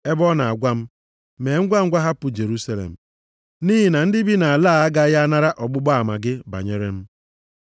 ebe ọ na-agwa m, ‘Mee ngwa! Hapụ Jerusalem, nʼihi na ndị bi nʼala a agaghị anara ọgbụgba ama gị banyere m.’